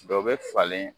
Dɔ bɛ falen